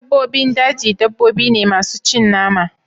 dabbobin daji dabbobi ne masu cin nama